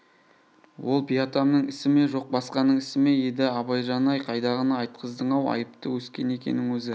ол би атамның ісі ме жоқ басқаның ісі ме еді абайжан-ай қайдағыны айтқыздың-ау айыпты өскен екенің өзі